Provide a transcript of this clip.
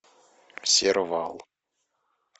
сервал